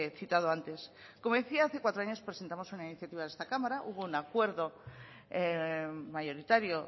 citado antes como decía hace cuatro años presentamos una pnl en esta cámara hubo un acuerdo mayoritario